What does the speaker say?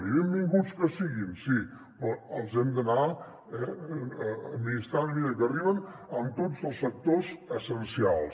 i benvinguts que siguin sí però els hem d’anar administrant a mesura que arriben en tots els sectors essencials